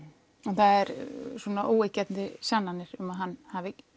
það eru svona óyggjandi sannanir um að hann hafi